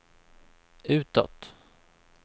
utåt